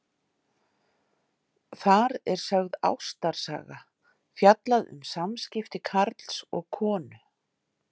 Þar er sögð ástarsaga, fjallað um samskipti karls og konu.